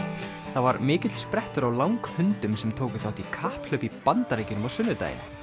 það var mikill sprettur á langhundum sem tóku þátt í kapphlaupi í Bandaríkjunum á sunnudaginn